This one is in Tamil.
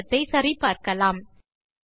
தேற்றத்தை சரி பார்க்கலாம்